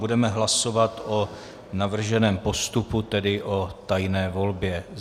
Budeme hlasovat o navrženém postupu, tedy o tajné volbě.